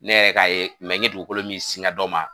Ne yɛrɛ ka ye dugukolo min sigɛ dɔ ma.